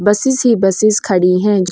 Buses ही buses खडी है।